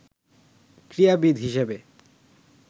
ক্রীড়াবিদ হিসেবে